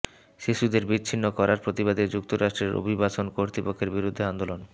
শিশুদের বিচ্ছিন্ন করার প্রতিবাদে যুক্তরাষ্ট্রের অভিবাসন কর্তৃপক্ষের বিরুদ্ধে আন্দোলন